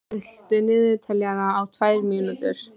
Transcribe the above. Rúbar, stilltu niðurteljara á tvær mínútur.